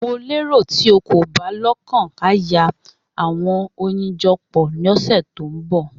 Mo lero ti o ko ba lokan a Yaworan awọn oyin jọ nipa tókàn ose